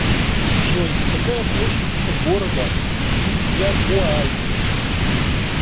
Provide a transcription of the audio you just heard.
джой какая площадь у города вильягуай